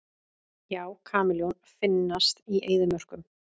Já, kameljón finnast í eyðimörkum.